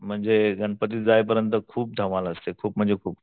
म्हणजे गणपती जाईपर्यंत तर खूप धमाल असते खूप म्हणजे खूप